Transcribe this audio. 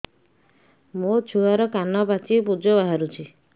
ମୋ ଛୁଆର କାନ ପାଚି ପୁଜ ବାହାରୁଛି